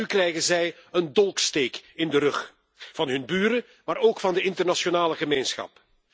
En nu krijgen zij een dolksteek in de rug van hun buren, maar ook van de internationale gemeenschap.